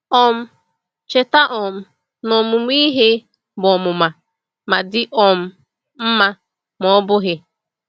um Cheta um na ọmụmụ ihe bụ bụ ọmụma — ma dị um mma ma ọ bụghị.